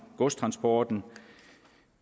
godstransporten